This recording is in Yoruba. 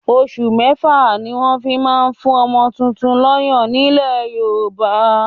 Osù mẹ́fà ni wọ́n fi ń ma ń fún ọmọ tuntun lọ́yàn ní ilẹ̀ Yorùbá.